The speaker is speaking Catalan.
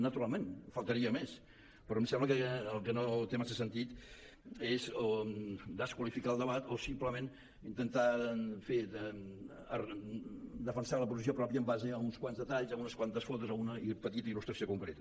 naturalment només faltaria però em sembla que el que no té massa sentit és desqualificar el debat o simplement intentar en fi defensar la posició pròpia en base a uns quants detalls a unes quantes fotos a una petita il·lustració concreta